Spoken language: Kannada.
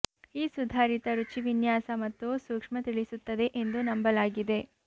ಈ ಸುಧಾರಿತ ರುಚಿ ವಿನ್ಯಾಸ ಮತ್ತು ಸೂಕ್ಷ್ಮ ತಿಳಿಸುತ್ತದೆ ಎಂದು ನಂಬಲಾಗಿದೆ